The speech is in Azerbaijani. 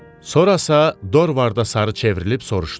Sonra Dorvarda sarı çevrilib soruşdu.